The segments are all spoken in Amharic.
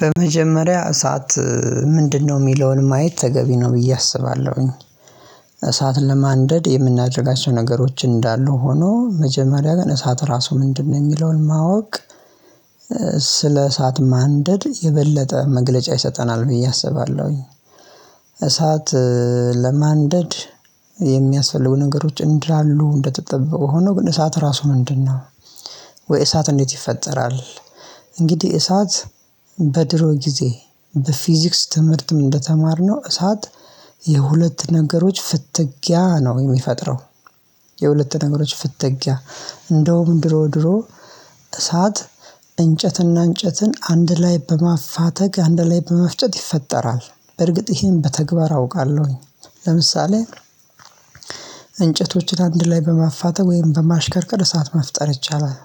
በመጀመሪያ እሳት ምንድነው ሚለውን ማየት ተገቢ ነው ብዬ አስባለሁኝ። እሳት ለማንደድ የምናደርጋቸው ነገሮች እንዳሉ ሆኖ መጀመሪያ ግን እሳት ራሱ ምንድነው የሚለውን ማወቅ። ስለ እሳት ማንደድ የበለጠ መግለጫ ይሰጠናል ብዬ አስባለሁኝ። እሳት ለማንደድ የሚያስፈልጉ ነገሮች እንዳሉ እንደተጠበቁ ሆኖ ግን እሳት ራሱ ምንድነው ወይ እሳት እንዴት ይፈጠራል? እንግዲህ እሳት በድሮ ጊዜ በፊዚክስ ትምህርትም እንደተማርነው እሳት የሁለት ነገሮች ፍትጊያ ነው የሚፈጥረው። የሁለት ነገሮች ፍትጊያ እንደውም ድሮ ድሮ እሳት እንጨትና እንጨትን አንድ ላይ በማፋተግ አንድ ላይ በመፍጨት ይፈጠራል። በርግጥ ይሄን በተግባር አውቃለሁኝ ለምሳሌ እንጨቶችን አንድ ላይ በማፋተም ወይም በማሽከርከር እሳት መፍጠር ይቻላል።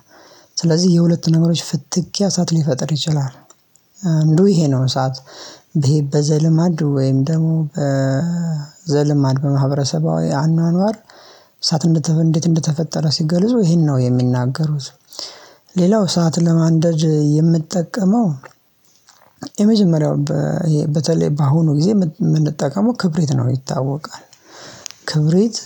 ስለዚህ የሁለት ነገሮች ፍትግያ እሳት ሊፈጥር ይችላል። አንዱ ይሄ ነው እሳት ይሄ በዘልማድ ወይም ደግሞ በዘልማድ በማህበረሰባዊ አኗኗር እሳት እንዴት እንደተፈጠረ ሲገልጹ ይሄን ነው የሚናገሩት። ሌላው እሳት ለማንደድ የምጠቀመው የመጀመሪያው በ ይሄ በተለይ በአሁኑ ጊዜ የምንጠቀመው ክብሪት ነው ይታወቃል። ክብሪት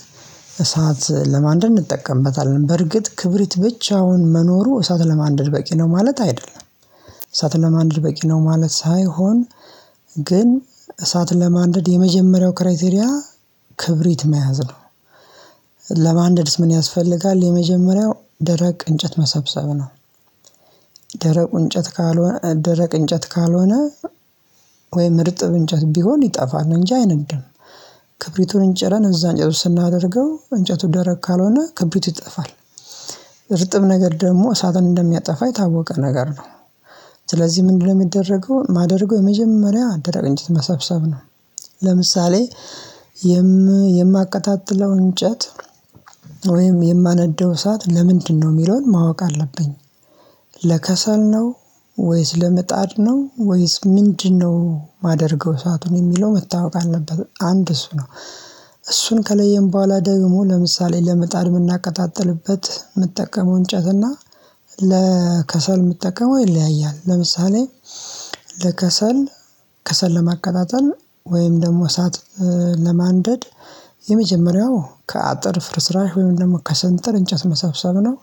እሳት ለማንደድ እንጠቀምበታለን በርግጥ ክብሪት ብቻውን መኖሩ እሳት ለማንደር በቂ ነው ማለት አይደለም። እሳትን ለማንደድ በቂ ነው ማለት ሳይሆን ግን እሳትን ለማንደድ የመጀመሪያው ክራይቴሪያ ክብሪት መያዝ ነው። ለማንደድስ ምን ያስፈልጋል? የመጀመሪያው ደረቅ እንጨት መሰብሰብ ነው። ደረቁ እንጨት ካልሆነ ደረቅ እንጨት ካልሆነ ወይም እርጥብ እንጨት ቢሆን ይጠፋል እንጂ አይነት ክብሪቱን ጭረን እዛ እንጨት ውስጥ ስናደርገው እንጨቱ ደረቅ ካልሆነ ክብሪቱ ይጠፋል። እርጥብ ነገር ደግሞ እሳትን እንደሚያጠፋ የታወቀ ነገር ነው። ስለዚህ ምንድነው የሚደረገውን ማደርገው የመጀመሪያ ደረቅ እንጨት መሳብሰብ ነው። ለምሳሌ የማቀጣጥለው እንጨት ወይም የማነደው እሳት ለምንድነው የሚለውን ማወቅ አለብኝ። ለከሰል ነው ወይስ ለመጣድ ነው ወይስ ምንድነው የማደርገው እሳቱን የሚለው መታወቅ አለበት። አንድ እሱ ነው እሱን ከለየን በኋላ ደግሞ ለምሳሌ ለመጣድ የምናቀጣጥልበት ምጠቀመው እንጨት እና ለከሰል ምጠቀመው ይለያያል። ለምሳሌ ለከሰል ከሰል ለማከታተል ወይም ደግሞ እሳት ለማንደድ የመጀመሪያው ከአጥር ፍርስራሽ ወይም ደግሞ ከስንጥር እንጨት መሰብሰብ ነው።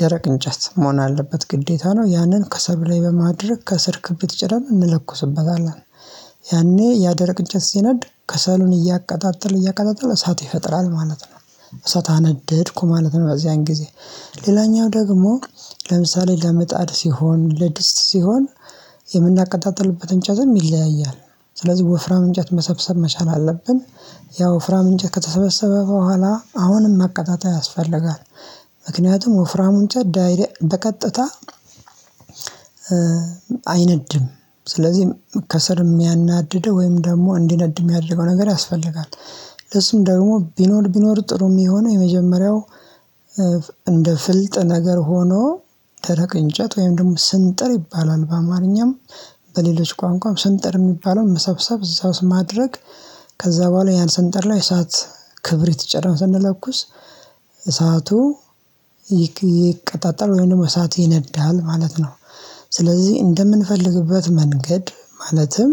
ደረቅ እንጨት መሆን አለበት ግዴታ ነው ያንን ከሰሉ ላይ በማድረግ ከስር ክብት ጭርም እንለኩስበታለን ያኔ ያደረቅ እንጨት ሲነድ ከሰሉን እያቀጣጠል እያቀጣጠል እሳት ይፈጥራል ማለት ነው። እሳት አነደድኩ ማለት ነው በዚያን ያን ጊዜ ሌላኛው ደግሞ ለምሳሌ ለመጣድ ሲሆን ለድስት ሲሆን እጨትም ይለያያል። ስለዚህ ወፍራም እንጨት መሰብሰብ መቻል አለብን። ያው ወፍራም እንጨት ከተሰበሰበ በኋላ አሁንም ማቀጣጠል ያስፈልጋል። ምክኒያቱ ወፍራሙ እንጨት ዳይሬክት በቀጥታ አይነድ ስለዝህ ከስር የሚያናድደው ወይም ደሞ እንዲነድ የሚያደርገው ነገር ያስፈልጋል። ምእሱ ደግሞ ቢኖር ቢኖር ጥሩ የሚሆነው የመጀመሪያው እንደ ፍልጥ ነገር ሆኖ ደረቅ እንጨት ወይም ደግሞ ስንጥር ይባላል። በአማርኛም በሌሎች ቋንቋም ስንጥር የሚባለውን መሰብሰብ እዛ ውስጥ ማድረግ ከዛ በኋላ ያን ስንጥር ላይ እሳት ክብሪት ጭረን ስንለኩስ እሳቱ ይቀጣጠል ወይንም ደሞ እሳት ይነዳል ማለት ነው። ስለዚህ እንደምንፈልግበት መንገድ ማለትም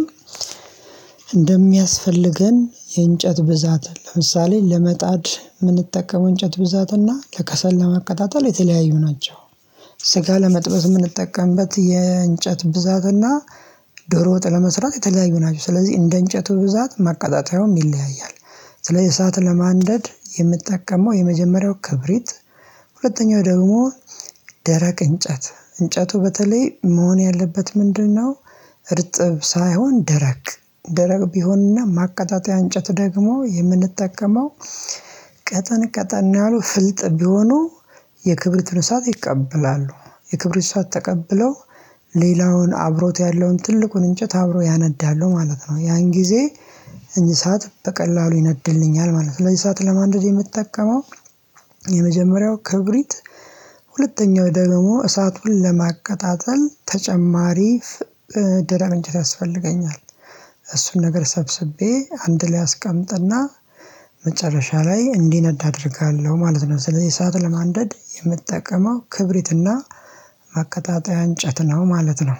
እንደሚያስፈልገን የእንጨት ብዛት ለምሳሌ ለመጣድ የምንጠቀመው እንጨት ብዛት እና ለከሰል ለማቀጣጠል የተለያዩ ናቸው። ስጋ ለመጥበዝ የምንጠቀምበት የእንጨት ብዛት እና ዶሮ ወጥ ለመስራት የተለያዩ ናቸው። ስለዚህ እንደ እንጨቱ ብዛት ማቀጣጠያውም ይለያያል። ስለዚህ እሳት ለማንደድ የምጠቀመው የመጀመሪያው ክብሪት ሁለተኛው ደግሞ ደረቅ እንጨት እንጨቱ በተለይ መሆን ያለበት ምንድነው? እርጥብ ሳይሆን ደረቅ ደረቅ ቢሆንና ማቀጣጠያ እንጨት ደግሞ የምንጠቀመው ቀጠን ቀጠን ያሉ ፍልጥ ቢሆኑ የክብሪቱን እሳሽ ይቀበላሉ የክብሪቱን እሳት ተቀብለው ሌላውን አብሮት ያለውን ትልቁን እንጨት አብሮ ያነዳሉ ማለት ነው። ያን ጊዜ እንሳት በቀላሉ ይነድልኛል ማለት ነው። እንሳት ለማንደድ የምትጠቀመው የመጀመሪያው ክብሪት ሁለተኛው ደግሞ እሳቱን ለማቀጣጠል ተጨማሪ ደረብ እንጨት ያስፈልገኛል። እሱን ነገር ሰብስቤ አንድ ላይ አስቀምጥና መጨረሻ ላይ እንዲነድ አደርጋለሁ ማለት ነው። ስለዚህ ሰዓት ለማንደድ የምጠቀመው ክብሪትና ማከቀጣጠያ እንጨት ነው ማለት ነው።